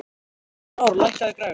Frár, lækkaðu í græjunum.